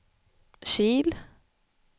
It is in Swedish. Kil